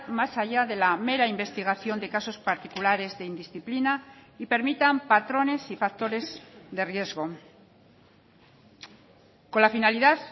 más allá de la mera investigación de casos particulares de indisciplina y permitan patrones y factores de riesgo con la finalidad